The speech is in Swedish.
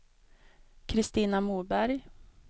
Christina Moberg